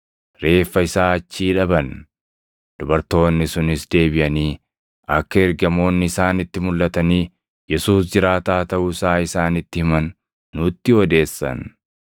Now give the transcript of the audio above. reeffa isaa achii dhaban. Dubartoonni sunis deebiʼanii akka ergamoonni isaanitti mulʼatanii, Yesuus jiraataa taʼuu isaa isaanitti himan nutti odeessan.